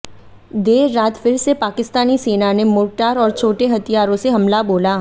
देर रात फिर से पाकिस्तानी सेना ने मोर्टार और छोटे हथियारों से हमला बोला